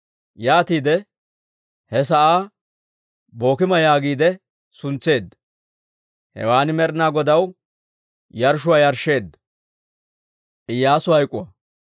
Yaatiide he sa'aa Bookima yaagiide suntseedda; hewaan Med'inaa Godaw yarshshuwaa yarshsheedda.